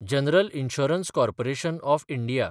general insurance corporation of India